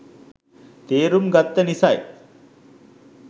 තේරුම් ගත්ත නිසායි.